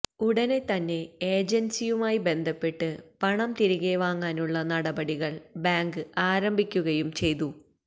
ഉടനെ തന്നെ ഏജന്സിയുമായി ബന്ധപ്പെട്ട് പണം തിരികെ വാങ്ങാനുള്ള നടപടികള് ബാങ്ക് ആരംഭിക്കുകയും ചെയ്തു